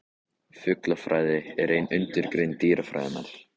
Fuglafræði er ein undirgrein dýrafræðinnar.